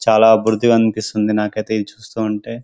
చాలా బురదగా అనిపిస్తుంది నాకైతే ఇది చూస్తుంటే